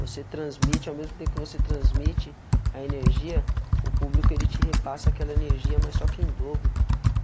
Você transmite, ao mesmo tempo que você transmite a energia, o público ele te repassa aquela energia, mas só que em dobro.